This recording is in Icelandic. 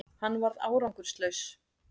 Hann varð árangurslaus